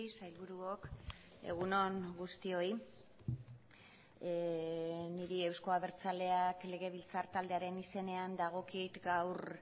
sailburuok egun on guztioi niri euzko abertzaleak legebiltzar taldearen izenean dagokit gaur